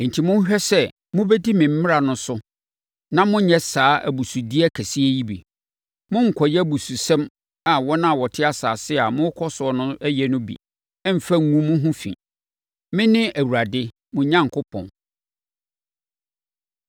Enti monhwɛ sɛ mobɛdi me mmara no so na monnyɛ saa abusudeɛ kɛseɛ yi bi. Monnkɔyɛ abususɛm a wɔn a wɔte asase a morekɔ so no yɛ no bi mmfa ngu mo ho fi. Mene Awurade mo Onyankopɔn.’ ”